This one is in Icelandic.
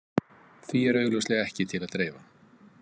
Því er augljóslega ekki til að dreifa.